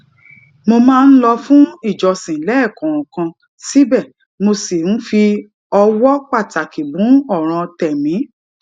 mo máa ń lọ fún ìjọsin léèkòòkan síbè mo ṣì ń fi ọwó pàtàkì mú òràn tèmí